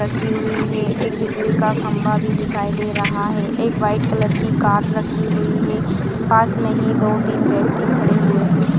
रखी हुई हैंएक बिजली का खंबा भी दिखाई दे रहा है एक व्हाइट कलर की कार रखी हुई है पास मे ही दो तीन व्यक्ति खड़े हुए है।